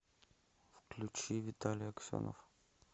включи виталий аксенов